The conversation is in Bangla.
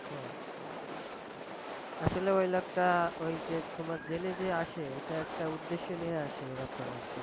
হ্যাঁ! আসলে ওই লোকটা, ওই যে তোমার জেলে যে আসে, এটা একটা উদ্দেশ্য নিয়ে আসে এরকম আর কি।